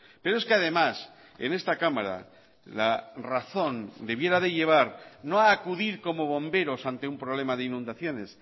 pero es que además en esta cámara la razón debiera de llevar no a acudir como bomberos ante un problema de inundaciones